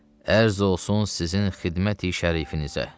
Ərz olsun sizin xidməti şərifinizə.